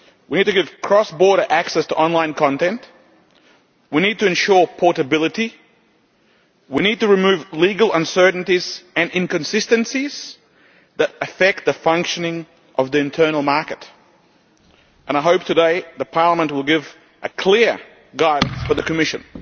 We need to give cross border access to online content, we need to ensure portability, and we need to remove legal uncertainties and inconsistencies that affect the functioning of the internal market. I hope that Parliament will give clear guidance for the Commission